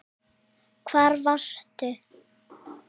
Hvar varstu?